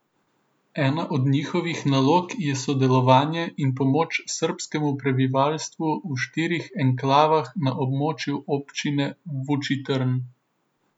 Ena od njihovih nalog je sodelovanje in pomoč srbskemu prebivalstvu v štirih enklavah na območju občine Vučitrn.